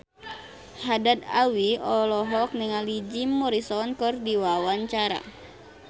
Haddad Alwi olohok ningali Jim Morrison keur diwawancara